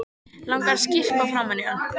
Langar að skyrpa framan í hann.